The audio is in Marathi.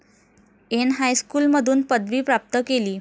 एन हायस्कूलमधून पदवी प्राप्त केली.